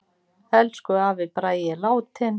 Elsku afi Bragi er látinn.